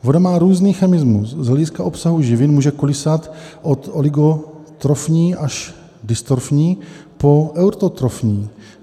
Voda má různý chemismus, z hlediska obsahu živin může kolísat od oligotrofní až dystrofní po eutrofní.